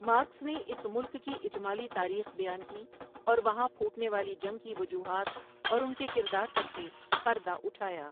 Marks نے اس ملک کی اجمالی تاریخ بیان کی اور و ہاں پھو ٹنے والی جنگ کی و جو ہات اور ان کے کردار پر سے پردہ اٹھایا ۔